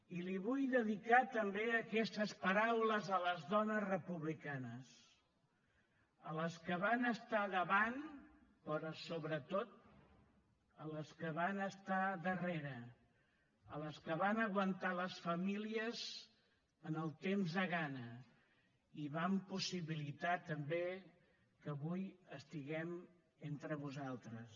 i li vull dedicar també aquestes paraules a les dones republicanes a les que van estar davant però sobretot a les que van estar darrere a les que van aguantar les famílies en el temps de gana i van possibilitar també que avui estiguem entre vosaltres